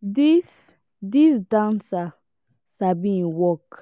dis dis dancer sabi im work